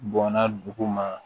Bɔnna dugu ma